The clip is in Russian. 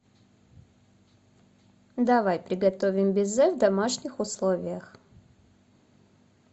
давай приготовим безе в домашних условиях